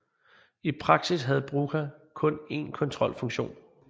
I praksis havde Brugha kun en kontrolfunktion